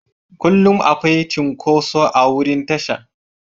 Kullum akwai cunkoso a wurin tasha.